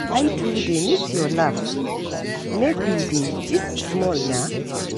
I too dey miss your laugh, make we dey gist small nah.